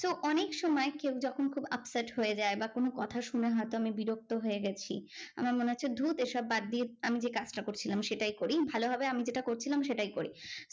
তো অনেক সময় কেউ যখন খুব upset হয়ে যায় বা কোনো কথা শুনে হয়তো আমি বিরক্ত হয়ে গেছি, আমার মনে হচ্ছে ধুর এইসব বাদ দিয়ে আমি যে কাজটা করছিলাম সেই কাজটাই করি। ভালো হবে আমি যেটা করছিলাম সেটাই করি।